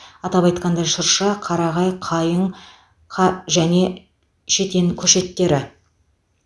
атап айтқанда шырша қарағай қайың қа және шетен көшеттері